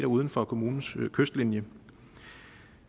uden for kommunens kystlinje